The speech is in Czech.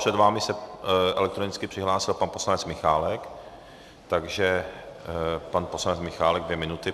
Před vámi se elektronicky přihlásil pan poslanec Michálek, takže pan poslanec Michálek dvě minuty.